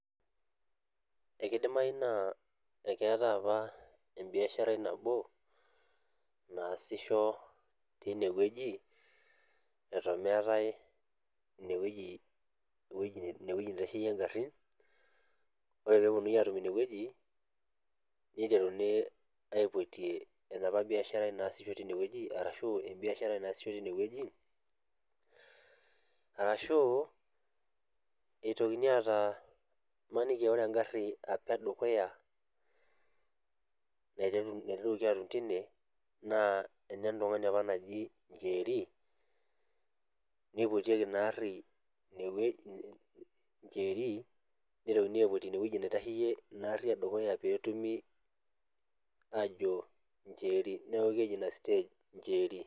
Ekeidimai naa ekeatai apa embiasharai nabo naasisho teinewueji eton meetai inewueji, inewueji neitasheyie ngarrin. Ore peepuonuni aatum inewueji neiteruni aipotie enapa biasharai naasisho teinewueji arashu embiasharai naasisho tinewueji arashuu eitokini aataa maniki ore engarri apa edukuya naiteruaki atum tine naa enentung'ani apa naji Njeeri neipotieki inaarri inewueji Njeeri neitokini aipot inewueji naitasheyie inaarri edukuya peetumi aajo Njeeri neaku keji ina stage Njeeri.